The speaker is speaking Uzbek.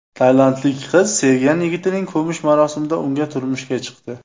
Tailandlik qiz sevgan yigitining ko‘mish marosimida unga turmushga chiqdi.